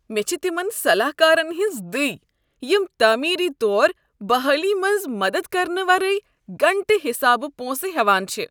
مےٚ چھ تمن صلاح كارن ہنز دٕے یم تعمیری طوربحٲلی منٛز مدد کرنہٕ ورٲیی گنٛٹہٕ حسابہٕ پونسہٕ ہیوان چھِ ۔